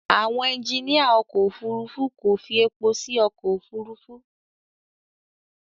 Àwọn ẹjiníà ọkọ̀ Òfurufú kò fi èpò sí inú ọkọ̀ Òfurufú.